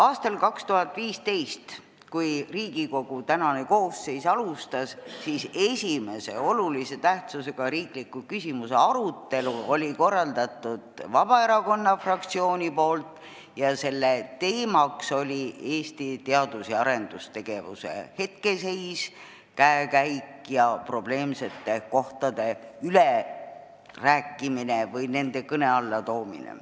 Aastal 2015, kui Riigikogu tänane koosseis alustas, siis esimese olulise tähtsusega riikliku küsimuse arutelu korraldas Vabaerakonna fraktsioon ning selle teema oli Eesti teadus- ja arendustegevuse hetkeseis, käekäik ja probleemsetest kohtadest rääkimine või nende kõne alla toomine.